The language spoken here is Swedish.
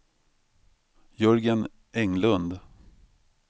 Jörgen Englund